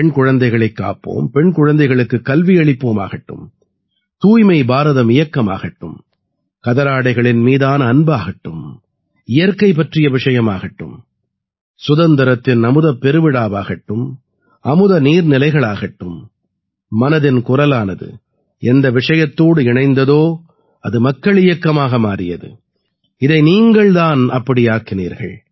பெண் குழந்தைகளைக் காப்போம் பெண் குழந்தைகளுக்குக் கல்வியளிப்போம் ஆகட்டும் தூய்மை பாரதம் இயக்கம் ஆகட்டும் கதராடைகளின் மீதான அன்பாகட்டும் இயற்கை பற்றிய விஷயமாகட்டும் சுதந்திரத்தின் அமுதப் பெருவிழாவாகட்டும் அமுத நீர்நிலைகளாகட்டும் மனதின் குரலானது எந்த விஷயத்தோடு இணைந்ததோ அது மக்கள் இயக்கமாக மாறியது இதை நீங்கள் தான் அப்படி ஆக்கினீர்கள்